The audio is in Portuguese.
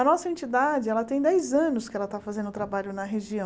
A nossa entidade tem dez anos que ela está fazendo trabalho na região.